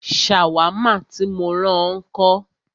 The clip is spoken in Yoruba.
Ṣàwámà tí mó rán ọ ńkọ́?